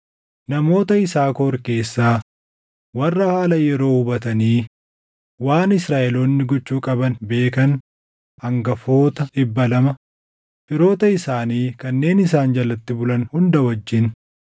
namoota Yisaakor keessaa warra haala yeroo hubatanii waan Israaʼeloonni gochuu qaban beekan hangafoota 200, firoota isaanii kanneen isaan jalatti bulan hunda wajjin;